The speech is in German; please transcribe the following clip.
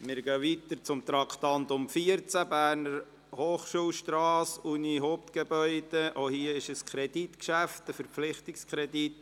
Bei diesem Traktandum handelt es sich ebenfalls um ein Kreditgeschäft, um einen Verpflichtungskredit.